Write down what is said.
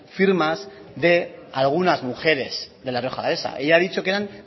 firmas de algunas mujeres de la rioja alavesa ella ha dicho que eran